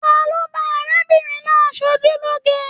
Talo ba arábìnrin náà sojuloge?